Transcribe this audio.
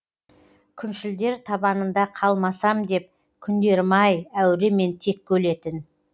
күншілдер табанында қалмасам деп күндерім ай әуремен текке өлетін